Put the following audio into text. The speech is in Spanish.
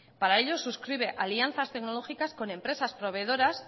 para ello suscribe alianzas tecnológicas con empresa proveedoras